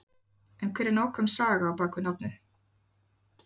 En hver er nákvæm saga á bakvið nafnið?